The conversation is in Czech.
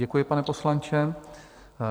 Děkuji, pane poslanče.